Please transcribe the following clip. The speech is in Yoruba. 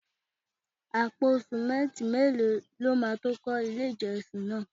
Àpò simẹnti mélòó lọ ma tó kọ ilé ìjọsìn náà?